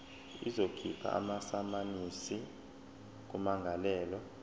izokhipha amasamanisi kummangalelwa